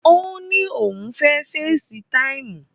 Ó ní òun fẹ́ fesi táìmù